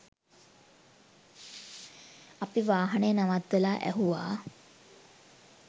අපි වාහනය නවත්වලා ඇහුවා